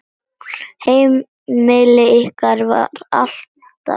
Heimili ykkar var alltaf heim.